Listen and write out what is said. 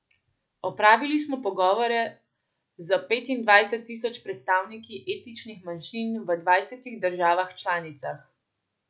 Opravili smo pogovore z petindvajset tisoč predstavniki etničnih manjšin v dvajsetih državah članicah.